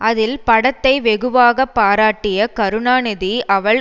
அதில் படத்தை வெகுவாக பாராட்டிய கருணாநிதி அவள்